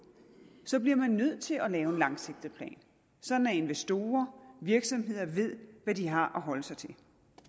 så bliver man nødt til at lave en langsigtet plan sådan at investorer og virksomheder ved hvad de har at holde sig til